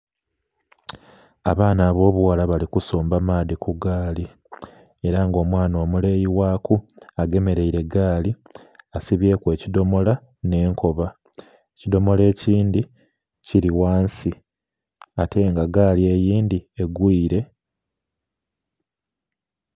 Abaana abo bughala bali kusamba amaadhi ku gaali era nga omwana omuleeyi ghaku agemereire gaali asibyeku ekidhomolo nhe nkoba, ekidhomolo ekindhi kili ghansi ate nga gaali eyindhi egwire.